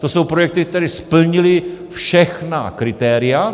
To jsou projekty, které splnily všechna kritéria.